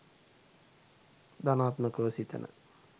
ධනාත්මකව සිතන